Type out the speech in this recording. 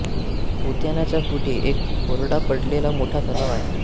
उद्यानाच्या पुढे एक कोरडा पडलेला मोठा तलाव आहे